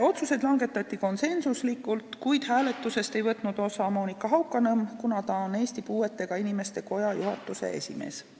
Otsused langetati konsensuslikult, kuid hääletusest ei võtnud osa Monika Haukanõmm, kuna ta on Eesti Puuetega Inimeste Koja juhatuse esimees.